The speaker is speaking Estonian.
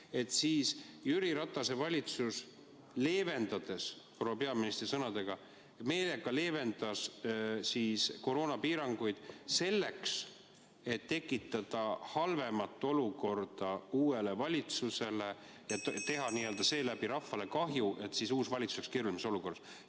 Sel ajal olevat Jüri Ratase valitsus proua peaministri sõnul meelega leevendanud koroonapiiranguid, et tekitada uuele valitsusele halvem olukord ...... teha seeläbi rahvale kahju, et siis uus valitsus oleks keerulisemas olukorras.